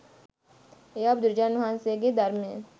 එයා බුදුරජාණන් වහන්සේගේ ධර්මය